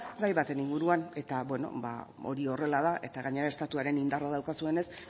gai baten inguruan eta hori horrela eta gainera estatuaren indarra daukazuenez